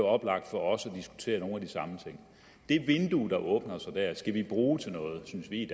oplagt for os at diskutere nogle af de samme ting det vindue der åbner sig der skal vi bruge til noget synes vi i